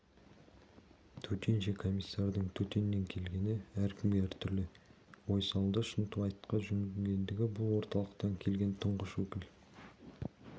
төтенше комиссардың төтеннен келгені әркімге әр түрлі ой салды шынтуайтқа жүгінгенде бұл орталықтан келген тұңғыш өкіл